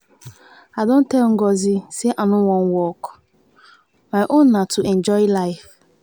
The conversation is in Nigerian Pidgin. i don tell ngozi say i no wan work. my own na to enjoy life.